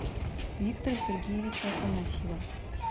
виктора сергеевича афанасьева